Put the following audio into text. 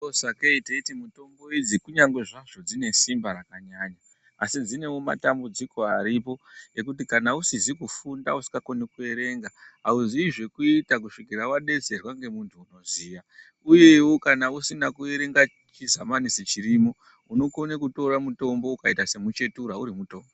Sakei teiti mutombo idzi kunyangwe zvazvo dzine simba rakanyanya asi dzinewo matambudziko aripo ekuti kana usizi kufunda usikakoni kuerenga hauzii zvekuita kusvika wadetserwa ngemunhu unoziya. Uyewo kana usina kuerenga chisamanisi chirimo unokone kutora mutombo ukaita semuchetura, urimutombo.